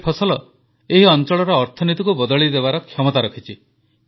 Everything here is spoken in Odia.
ଏ ଫସଲ ଏହି ଅଂଚଳର ଅର୍ଥନୀତିକୁ ବଦଳାଇବାର କ୍ଷମତା ରଖିଛି